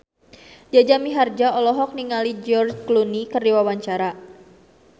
Jaja Mihardja olohok ningali George Clooney keur diwawancara